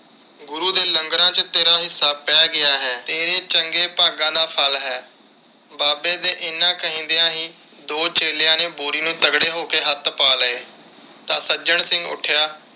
ਗੁਰੂ ਦੇ ਲੰਗਰਾਂ ਵਿਚ ਤੇਰਾ ਹਿੱਸਾ ਪੈ ਗਿਆ ਹੈ। ਤੇਰੇ ਚੰਗੇ ਭਾਗਾਂ ਦਾ ਫਲ ਹੈ। ਬਾਬੇ ਦੇ ਇੰਨੇ ਕਹਿੰਦਿਆ ਹੀ ਦੋ ਚੇਲਿਆਂ ਨੇ ਬੋਰੀ ਨੂੰ ਤਗੜੇ ਹੋ ਕੇ ਹੱਥ ਪਾ ਲਏ ਤਾਂ ਸੱਜਣ ਸਿੰਘ ਉੱਠਿਆ